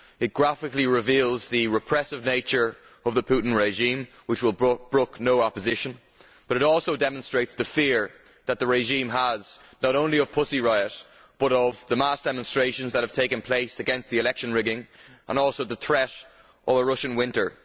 It graphically reveals the repressive nature of the Putin regime, which will brook no opposition, but it also demonstrates the fear that the regime has not only of Pussy Riot, but of the mass demonstrations that have taken place against the election rigging and also the threat of a Russian winter.